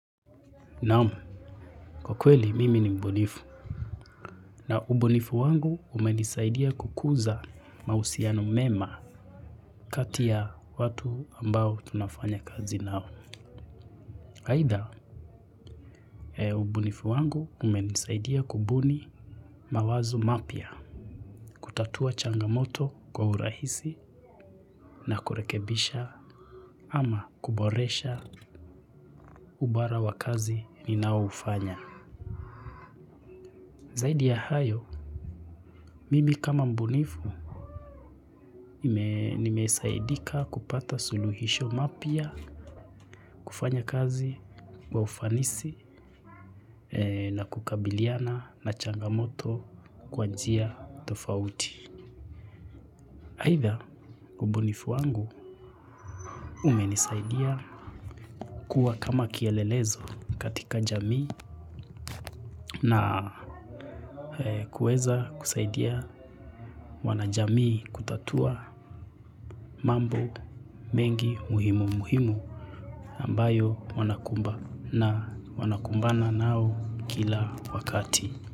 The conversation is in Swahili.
Naam, kwa kweli mimi ni mbunifu na ubunifu wangu umenisaidia kukuza mahusiano mema kati ya watu ambao tunafanya kazi nao. Aidha, ubunifu wangu umenisaidia kubuni mawazo mapya, kutatua changamoto kwa urahisi na kurekebisha ama kuboresha ubara wa kazi ni nao ufanya. Zaidi ya hayo, mimi kama mbunifu nimesaidika kupata suluhisho mapya kufanya kazi wa ufanisi na kukabiliana na changamoto kwa njia tofauti. Aidha ubunifu wangu umenisaidia kuwa kama kielelezo katika jamii na kuweza kusaidia wanajamii kutatua mambo mengi muhimu muhimu ambayo wanaku mbana wanakumbana nayo kila wakati.